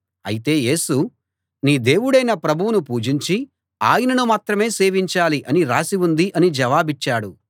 అయితే యేసు నీ దేవుడైన ప్రభువును పూజించి ఆయనను మాత్రమే సేవించాలి అని రాసి ఉంది అని జవాబిచ్చాడు